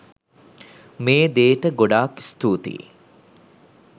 මේ දේට ගොඩාක් ස්තුතියි.